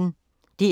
DR P1